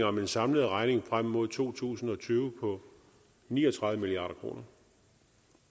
om en samlet regning frem mod to tusind og tyve på ni og tredive milliard kr